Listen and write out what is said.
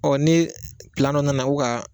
Ɔ ni pilan dɔ nana ko ga